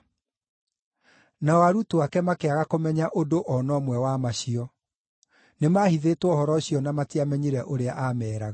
Nao arutwo ake makĩaga kũmenya ũndũ o na ũmwe wa macio. Nĩmahithĩtwo ũhoro ũcio na matiamenyire ũrĩa aameeraga.